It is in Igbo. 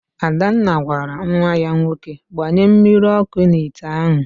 Adanna gwara nwa ya nwoke, gbanye mmiri ọkụ n'ite ahụ!